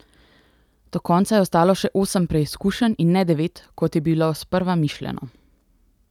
Do konca je ostalo še osem preizkušenj in ne devet, kot je bilo sprva mišljeno.